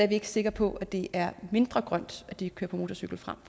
vi ikke sikre på at det er mindre grønt at de kører på motorcykel frem